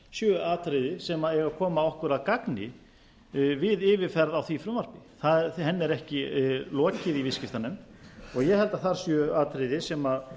séu atriði sem eigi að koma okkur að gagni við yfirferð á því frumvarpi henni er ekki lokið í viðskiptanefnd og ég held að þar séu atriði sem